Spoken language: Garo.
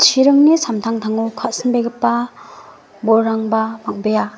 chiringni samtangtango ka·sinbegipa bolrangba bang·bea.